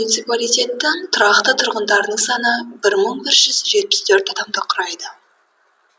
муниципалитеттің тұрақты тұрғындарының саны бір мың бір жүз жетпіс төрт адамды құрайды